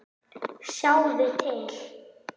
Sjáðu til.